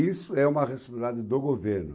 Isso é uma responsabilidade do governo.